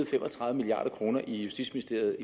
fem og tredive milliard kroner i justitsministeriet